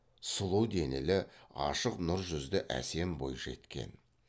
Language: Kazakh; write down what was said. сұлу денелі ашық нұр жүзді әсем бойжеткен